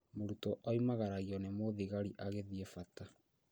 Mũrutwo oimagaragio nĩ mũthigari agĩthiĩ bata